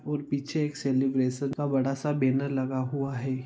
और पीछे एक सेलीब्रैशन का बड़ा सा बैनर लगा हुआ है।